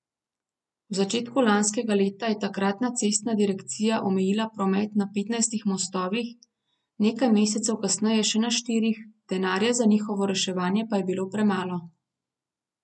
V začetku lanskega leta je takratna cestna direkcija omejila promet na petnajstih mostovih, nekaj mesecev kasneje še na štirih, denarja za njihovo reševanje pa je bilo premalo.